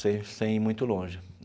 sem sem ir muito longe.